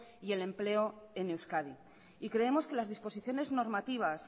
y el empleo en euskadi y creemos que las disposiciones normativas